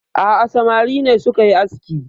A'a samari ne suka yi aski